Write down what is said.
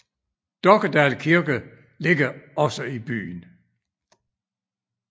Dokkedal Kirke ligger også i byen